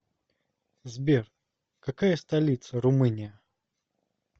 сбер какая столица румыния